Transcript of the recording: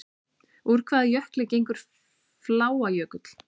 Úr hvaða jökli gengur Fláajökull?